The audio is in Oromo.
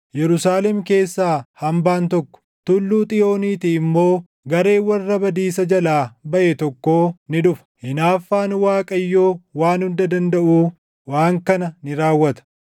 Yerusaalem keessaa hambaan tokko, Tulluu Xiyooniitii immoo // gareen warra badiisa jalaa baʼe tokkoo ni dhufa. Hinaaffaan Waaqayyoo Waan Hunda Dandaʼuu waan kana ni raawwata.